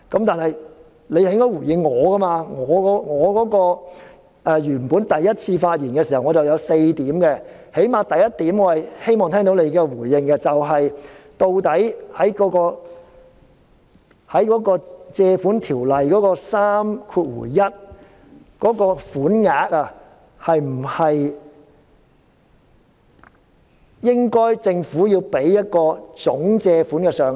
但是，他應該回應我的發言，我第一次發言時提及4點，起碼我希望聽到他對第一點的回應，即究竟在《借款條例》的第31條之下借入的款項，政府是否應該提供一個總借款上限？